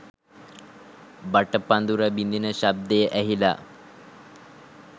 බටපදුර බිදින ශබ්දය ඇහිලා